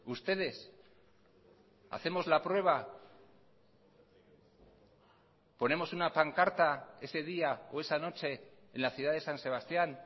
ustedes hacemos la prueba ponemos una pancarta ese día o esa noche en la ciudad de san sebastián